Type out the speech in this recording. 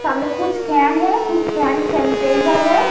सामने कुछ केन हैं कुछ सेंट सेनिटाइज़र हैं।